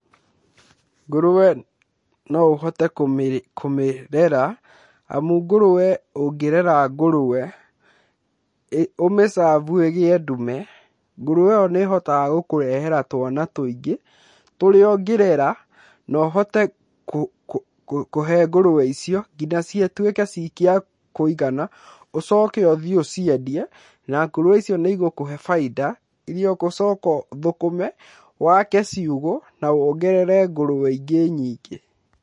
Ngũrũwe no ũhote kũmĩrera, amu ngũrũwe ũngĩrera ngũrũwe, ũmĩ serve ĩgĩe ndume, ngũrũwe ĩyo nĩ ĩhotaga gũkũrehera twana tũingĩ, tũrĩa ũngĩrera, na ũhote kũhe ngũrũwe icio, nginya cituĩke cia kũigana, ũcoke ũthiĩ ũciendie, na ngũrũwe icio nĩ igũkũhe bainda, iria ũgũcoka ũthũkũme, wake ciugũ na wongerere ngũrũwe ingĩ nyingĩ.